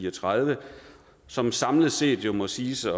og tredive som samlet set jo må siges at